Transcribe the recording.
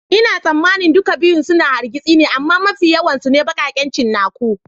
Ina tsammanin duka biyu suna yin hargitsi amma mafi yawan su ne baƙaƙen cinnaku.